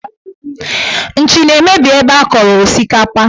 Nchi na-emebi ebe a kọrọ osikapa